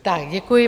Tak děkuji.